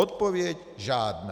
Odpověď žádná.